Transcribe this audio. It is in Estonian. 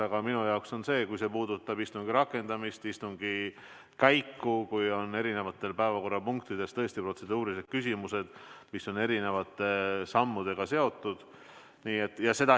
Aga minu arvates see peab puudutama istungi rakendamist, istungi käiku, kui eri päevakorrapunktidega on tõesti seotud protseduurilised küsimused, mis eeldavad erinevaid samme.